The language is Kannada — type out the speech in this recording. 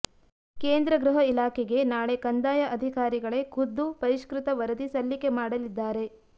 ಕೇಂದ್ರ ಗೃಹ ಇಲಾಖೆಗೆ ನಾಳೆ ಕಂದಾಯ ಅಧಿಕಾರಿಗಳೇ ಖುದ್ದು ಪರಿಷ್ಕೃತ ವರದಿ ಸಲ್ಲಿಕೆ ಮಾಡಲಿದ್ಧಾರೆ